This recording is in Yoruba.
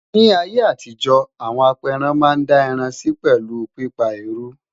ní ayé àtijó, àwọn aperan Man dá ẹran Si pelu pípa eruu